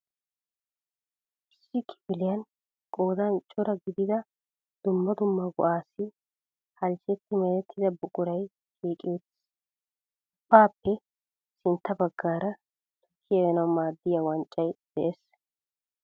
Issi kifiliyan qoodan cora gidida dumma dumma go"aassi halchchetti merettida buquray shiiqi uttiis. Ubbaappe sintta baggaara tukkiya uyanawu maaddiya wanccay de'es.